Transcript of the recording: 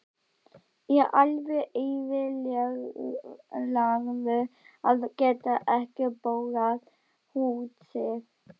Er alveg eyðilagður að geta ekki borgað húsið.